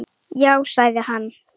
Já, sagði hann.